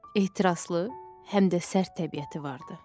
Ehtiraslı, həm də sərt təbiəti vardı.